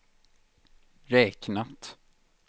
räknat